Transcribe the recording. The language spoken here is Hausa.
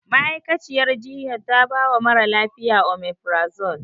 Ma'aikaciyar jinyar ta bawa mara lafiya. Omefirazol.